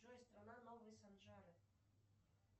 джой страна новые санжары